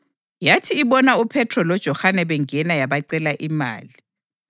Yathi ibona uPhethro loJohane bengena yabacela imali.